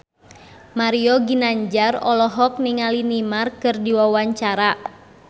Mario Ginanjar olohok ningali Neymar keur diwawancara